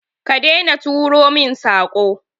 Ka daina turo min Sako.